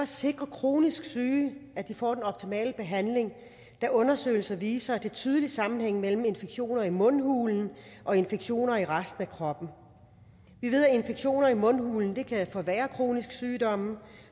sikre at kronisk syge får den optimale behandling da undersøgelser viser er en tydelig sammenhæng mellem infektioner i mundhulen og infektioner i resten af kroppen vi ved at infektioner i mundhulen kan forværre kroniske sygdomme